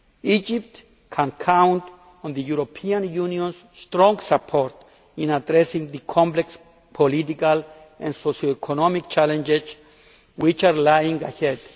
Egypt can count on the European Union's strong support in addressing the complex political and socio economic challenges which lie